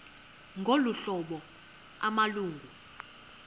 ngolu hlobo amalungu